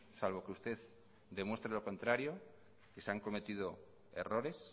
salvo que usted demuestre lo contrario que se han cometido errores